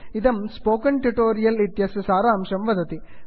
इदं spoken tutorial इत्यस्य सारांशं वदति